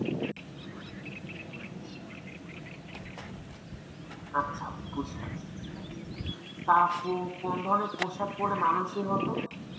আচ্ছা বুঝলাম, তা আপু কোন ধরনের পোশাক পড়লে মাননসই হতো?